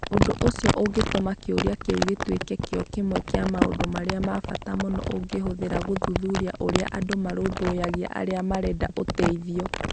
Ũndũ ũcio ũgatũma kĩũria kĩu gĩtuĩke kĩo kĩmwe kĩa maũndũ marĩa ma bata mũno ũngĩhũthĩra gũthuthuria ũrĩa andũ marũmbũyagia arĩa marenda ũteithio.